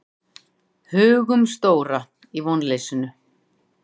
Hugumstóra í vonleysinu.